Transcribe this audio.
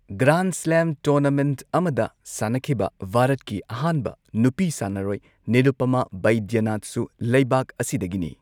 Grand slam tournament ꯑꯃꯗ ꯁꯥꯟꯅꯈꯤꯕ ꯚꯥꯔꯠꯀꯤ ꯑꯍꯥꯟꯕ ꯅꯨꯄꯤ ꯁꯥꯟꯅꯔꯣꯢ ꯅꯤꯔꯨꯄꯃꯥ ꯕꯩꯗ꯭ꯌꯅꯥꯊꯁꯨ ꯂꯩꯕꯥꯛ ꯑꯁꯤꯗꯒꯤꯅꯤ꯫